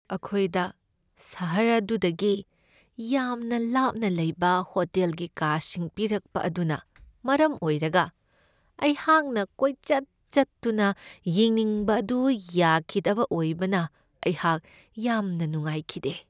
ꯑꯈꯣꯏꯗ ꯁꯍꯔ ꯑꯗꯨꯗꯒꯤ ꯌꯥꯝꯅ ꯂꯥꯞꯅ ꯂꯩꯕ ꯍꯣꯇꯦꯜꯒꯤ ꯀꯥꯁꯤꯡ ꯄꯤꯔꯛꯄ ꯑꯗꯨꯅ ꯃꯔꯝ ꯑꯣꯏꯔꯒ ꯑꯩꯍꯥꯛꯅ ꯀꯣꯏꯆꯠ ꯆꯠꯇꯨꯅ ꯌꯦꯡꯅꯤꯡꯕ ꯑꯗꯨ ꯌꯥꯈꯤꯗꯕ ꯑꯣꯏꯕꯅ ꯑꯩꯍꯥꯛ ꯌꯥꯝꯅ ꯅꯨꯡꯉꯥꯏꯈꯤꯗꯦ꯫